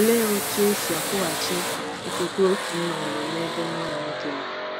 Olee otú e si kwụghachi okwukwe otu nna nwere n’ebe nwa ya nwoke nọ?